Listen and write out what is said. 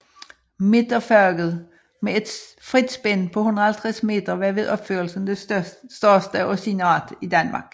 Midterfaget med et frit spænd på 150 meter var ved opførelsen det største af sin art i Danmark